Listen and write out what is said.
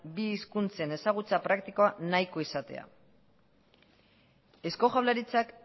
bi hizkuntzen ezagutza praktikoa nahiko izatea eusko jaurlaritzak